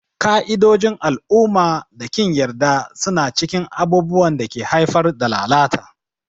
Ƙa'idojin al'umma da ƙin yarda suna cikin abubuwan da ke haifar da lalata.